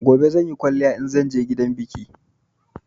Gobe zanyi kwaliya inzan je gidan biki